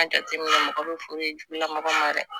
An jateminɛ mɔgɔw bɛ foro jugu lamɔgɔ ma dɛ